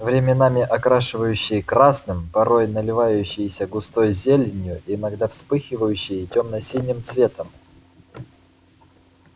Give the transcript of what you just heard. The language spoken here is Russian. временами окрашивающее красным порой наливающееся густой зеленью иногда вспыхивающее тёмно-синим цветом